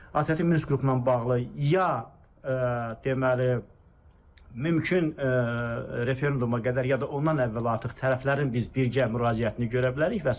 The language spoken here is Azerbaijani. ATƏT-in Minsk qrupu ilə bağlı ya, deməli, mümkün referenduma qədər ya da ondan əvvəl artıq tərəflərin biz birgə müraciətini görə bilərik və sair.